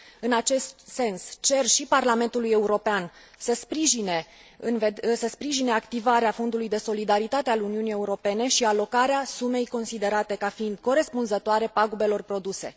În acest sens, cer și Parlamentului European să sprijine activarea Fondului de Solidaritatea al Uniunii Europene și alocarea sumei considerate ca fiind corespunzătoare pagubelor produse.